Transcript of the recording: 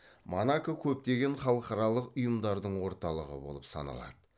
монако көптеген халықаралық ұйымдардың орталығы болып саналады